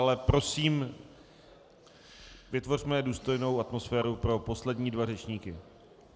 Ale prosím, vytvořme důstojnou atmosféru pro poslední dva řečníky.